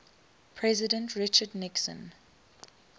president richard nixon